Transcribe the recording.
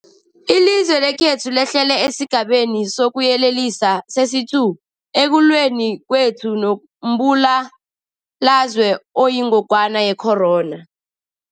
Ilizwe lekhethu lehlele esiGabeni sokuYelelisa sesi-2 ekulweni kwethu nombulalazwe oyingogwana ye-corona.